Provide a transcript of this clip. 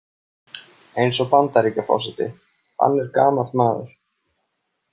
Eins og Bandaríkjaforseti, hann er gamall maður.